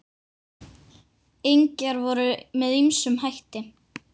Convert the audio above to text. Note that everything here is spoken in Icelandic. Engjar voru með ýmsum hætti.